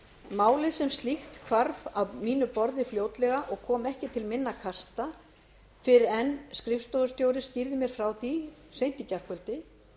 málið sem slíkt hvarf af mínu borði fljótlega og kom ekki til minna kasta fyrr en skrifstofustjóri skýrði mér frá því seint í gærkvöldi